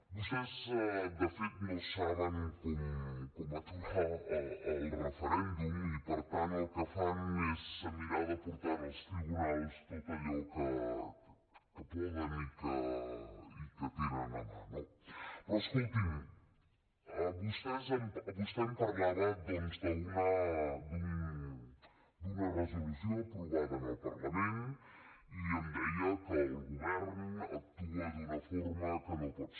vostès de fet no saben com aturar el referèndum i per tant el que fan és mirar de portar als tribunals tot allò que poden i que tenen a mà no però escolti’m vostè em parlava doncs d’una resolució aprovada en el parlament i em deia que el govern actua d’una forma que no pot ser